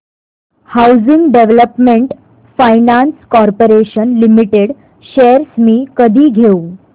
housing development finance corporation limited shares मी कधी घेऊ